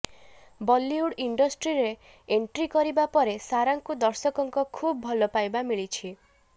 ବଲିଉଡ୍ ଇଣ୍ଡଷ୍ଟ୍ରୀରେ ଏଣ୍ଟ୍ରି କରିବା ପରେ ସାରାଙ୍କୁ ଦର୍ଶକଙ୍କ ଖୁବ୍ ଭଲ ପାଇବା ମିଳିଛି